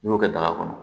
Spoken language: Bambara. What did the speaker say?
N'i y'o kɛ daga kɔnɔ